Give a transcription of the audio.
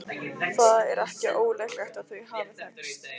Það er ekki ólíklegt að þau hafi þekkst.